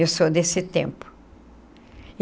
Eu sou desse tempo.